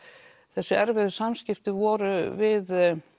þessi erfiðu samskiptin voru við